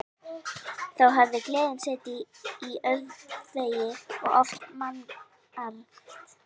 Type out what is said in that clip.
Þá hafði gleðin setið í öndvegi og oft mannmargt.